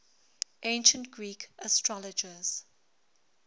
ancient greek astrologers